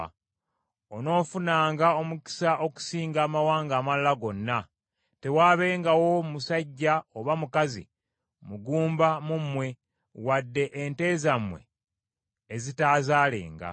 Onoofunanga omukisa okusinga amawanga amalala gonna; tewaabengawo musajja oba mukazi mugumba mu mmwe, wadde ente zammwe ezitaazaalenga.